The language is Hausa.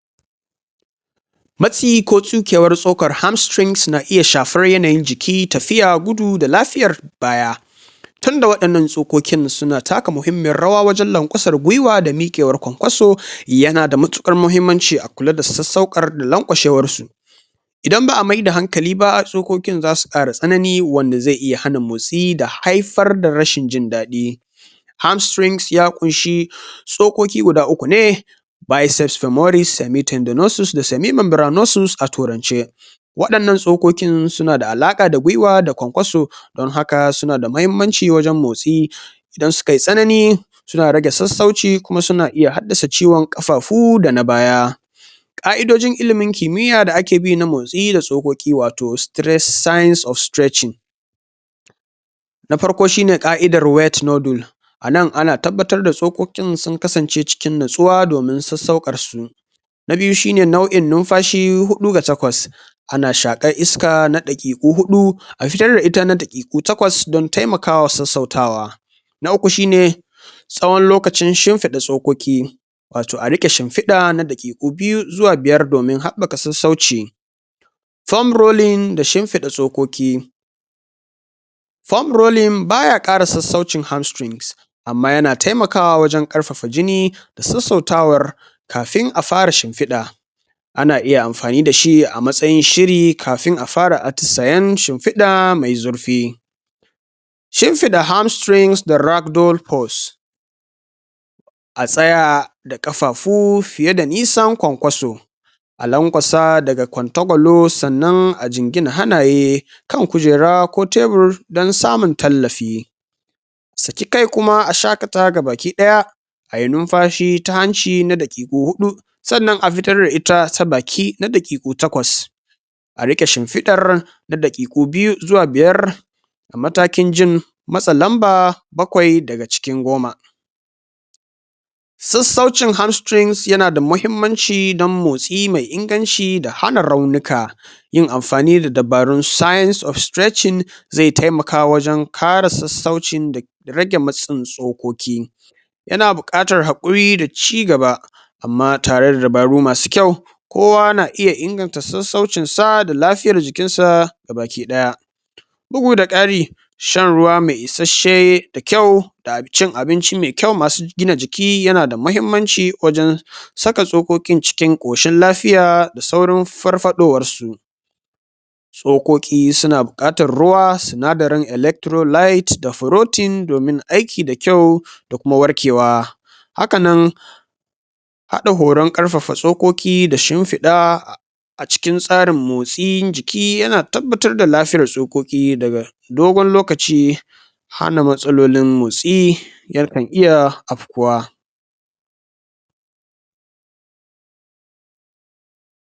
maci ko tsukewar so kar hamstrings na iya shafar yanayin ji ki tafiya gudu da lafiyar baya tunda wa 'yan nan stokokin da suna taka muhimmiyar rawa wajen lau kwasar giwa da mikewar kwankoso yanada matikar muhimmanci a kula da sassaukar laukashewar su inda ba a mai da hankali ba stokokin zasu kara tsanani wanda zai iya hana motsi da haifar da rashin jin dadi hamstrings ya kunshi stokoki guda uku ne bayeses da moris semi tinda nosus da semi mangra nosus a turance wa'yan nan stokokin sunada alaka da gwiwa da kwankwaso dan haka sunada mahimmanci wajen motsi idan sukayi tsanani suna rage sassauci kuma suna iya haddasa ciwan kafafu da na baya qa'idojin ilimin kimiya da ake bi na motsi da stokoki wato stress signs of streching na farko shine qa'idar wetnodul anan ana tabbatar da tso kokin sun kasance cikin nutsuwa domin sassaukar su na biyu shine nau'in numfashi hudu ga takwas ana shakar iska na dabi'u hadu a ferre ita na tafi na takwas dan taimakawa sassautawa na uku shine tsawon lokacin shinfida tsokoki wato a rike shinfida na bege na biyu zuwa biyar domin habbaka sassauci form rolling da shinfida tsokoki form rolling baya kara sassaucin hamstrings amma yana taimkawa wajen karfafa jini sassautawar kafin a fara shinfida ana iya amfani dashi a matsayin shiri kafin a fara atusayen shinfida mai zurfi shinfida hamstings da ragdol post a tsaya da kafafu fiye da nisan kwankwaso a lankwas daga kwantakwalo sannan a jingina hanaye kan kujera ko tebur dan samun tallafi saki kai kuma a shakata gabaki daya ayi numfashi ta hanci na dakiku hudu sannan a fitar da ita ta baki na dakiku takwas a rike shinfidar na dakiku biyu zuwa biyar matakin jin masa lamba bakwai daga cin goma sassaucin hamstings yana da muhimmanci na motsi mai inganci da hana raunuka yin amfanu da dabaru signs of streching zai taimka wajen kare sassaucin da rage matsin tsokoki yana bukatar hakuri da cigaba amma tare da dabaru masu kyau kowa na iya inganta sassaucin sa da lafiyar jikinsa gaba ki daya bugu da kari shan ruwa ma isasshe da kyau da cin abinci mai kyau masu gina jiki yanada mahimmanci wajen saka tsokokin cin koshin lafiya da saurin farfadowan su tsokoki suna bukatar ruwa sinadarin electro light da ferotin domin aiki da kyau da kuma warkewa haka nan hada goran karfafa tsokoki da shinfida a cikin tsarin motsin jiki yana tabbatar da lafiyan tsokoki daga dogon lokaci hana matsalolin mosi 'yar tafiya afkuwa